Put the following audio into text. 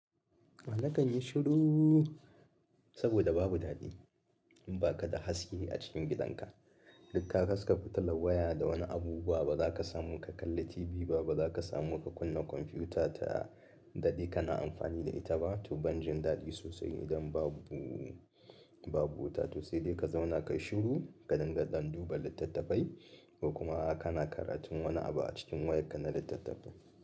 Nakan yi shiru saboda babu dadi, in baka da haske a cikin gidanka duk ka haska fitilan waya da wani abubuwa, ba zaka samu ka kalli TV ba, ba zaka samu ka kunna komfiuta ta dade kana amfani da ita ba to ban jin daɗi sosai idan babu, babu wuta, to sai dai ka zauna ka yi shiru, ka dinga ɗan duba littattafai ko kuma kana karatun wani abu a cikin wayar ka na littattafai.